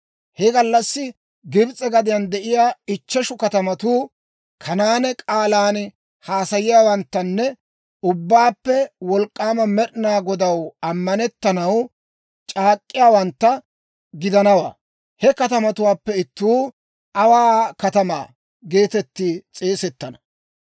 He gallassi Gibs'e gadiyaan de'iyaa ichcheshu katamatuu Kanaane k'aalan haasayiyaawanttanne Ubbaappe Wolk'k'aama Med'inaa Godaw ammanettanaw c'aak'k'iyaawantta gidana. He katamatuwaappe ittuu, «Awaa Katamaa» geetettiide s'eesettana.